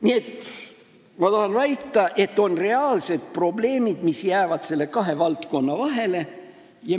Nii et ma tahan väita, et on olemas reaalsed probleemid, mis jäävad selle kahe valdkonna vahele.